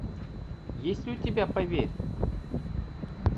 есть ли у тебя поверь